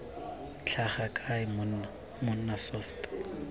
tlhaga kae monna mmona soft